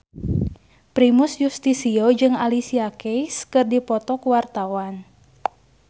Primus Yustisio jeung Alicia Keys keur dipoto ku wartawan